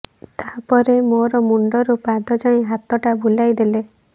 ତାପରେ ମୋର ମୁଣ୍ଡରୁ ପାଦ ଯାଏ ହାତଟା ବୁଲାଇ ଦେଲେ